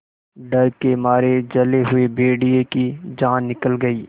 डर के मारे जले हुए भेड़िए की जान निकल गई